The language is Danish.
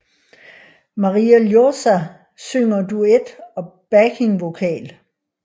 Maria Ljósá synger duet og backing vocal